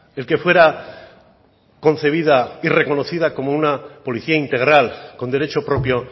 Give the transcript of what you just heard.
el que fuera concebida y reconocida como una policía integral con derecho propio